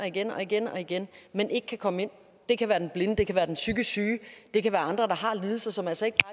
igen og igen og igen men ikke kan komme ind det kan være den blinde det kan være den psykisk syge det kan være andre der har lidelser som altså ikke